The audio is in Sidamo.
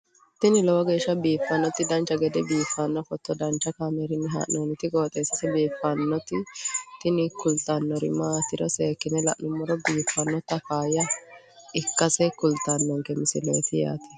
tini lowo geeshsha biiffannoti dancha gede biiffanno footo danchu kaameerinni haa'noonniti qooxeessa biiffannoti tini kultannori maatiro seekkine la'niro biiffannota faayya ikkase kultannoke misileeti yaate